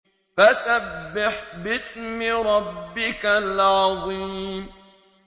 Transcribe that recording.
فَسَبِّحْ بِاسْمِ رَبِّكَ الْعَظِيمِ